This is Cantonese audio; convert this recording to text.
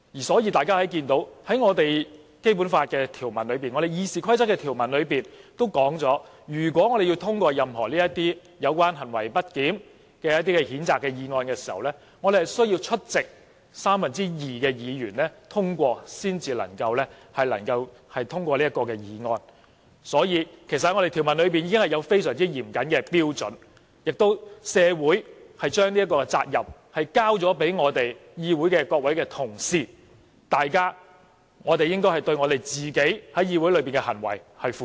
所以，我們看到《基本法》、《議事規則》的條文都指出，如果我們要通過任何有關行為不檢的譴責議案，需要獲得出席議員的三分之二通過，所以，條文已有非常嚴謹的標準，社會也把這個責任交給各位議會同事，我們應該對自己在議會裏的行為負責。